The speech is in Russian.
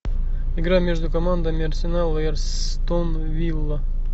игра между командами арсенал и астон вилла